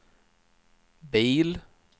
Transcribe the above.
bil